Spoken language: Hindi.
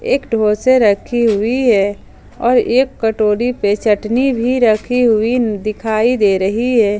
एक डोसे रखी हुई है और एक कटोरी पे चटनी भी रखी हुई दिखाई दे रही है।